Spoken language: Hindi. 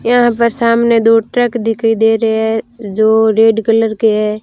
यहां पर सामने दो ट्रक दिखाई दे रहे है जो रेड कलर के है।